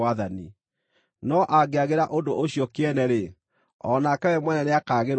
No angĩagĩra ũndũ ũcio kĩene-rĩ, o nake we mwene nĩakagĩrwo kĩene.